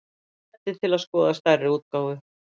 Smellið til að skoða stærri útgáfu